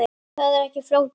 Það er ekki flókið.